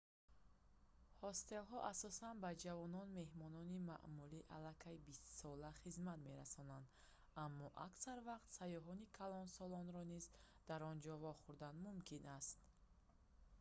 ҳостелҳо асосан ба ҷавонон меҳмони маъмулӣ аллакай бистсола хизмат мерасонанд аммо аксар вақт сайёҳони калонсолро низ дар он ҷо вохӯрдан мумкин аст